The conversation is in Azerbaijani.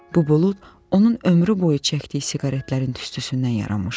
Bu bulud onun ömrü boyu çəkdiyi siqaretlərin tüstüsündən yaranmışdı.